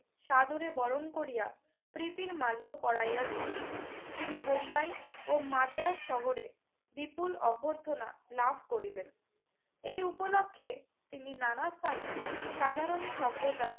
সাদরে বরণ করিয়া প্রীতির মাল্য পড়াইয়া দিল। তিনি বোম্বাই ও মাদ্রাজ শহরে বিপুল অভ্যর্থনা লাভ করিলেন। এই উপলক্ষে তিনি নানা স্থানে সাধারণ সভ্যতার